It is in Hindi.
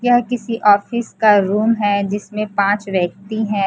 यह किसी ऑफिस का रूम है जिसमें पांच व्यक्ती हैं।